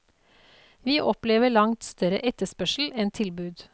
Vi opplever langt større etterspørsel enn tilbud.